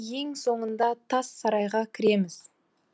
ең соңында тас сарайға кіреміз